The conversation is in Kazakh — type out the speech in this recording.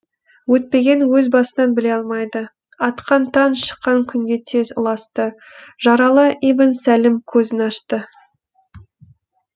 өтпеген өз басынан біле алмайды атқан таң шыққан күнге тез ұласты жаралы ибн сәлім көзін ашты